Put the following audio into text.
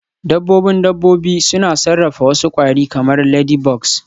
Dabbobin dabbobi suna sarrafa wasu kwari kamar ladybugs